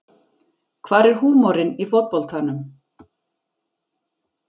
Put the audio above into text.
Hvar er húmorinn í fótboltanum